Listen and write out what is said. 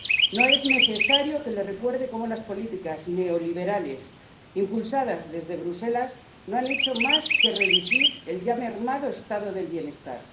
No es necesario que le recuerde cómo las políticas neoliberales impulsadas desde Bruselas no han hecho más que reducir el ya mermado Estado del Bienestar.